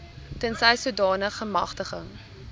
tensy sodanige magtiging